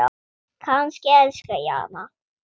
Kannski elska ég hana?